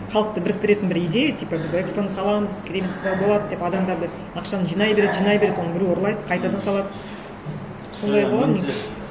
халықты біріктіретін бір идея типа біз экспо ны саламыз болады деп адамдарды ақшаны жинай береді жинай береді оны біреу ұрлайды қайтадан салады сондай болған не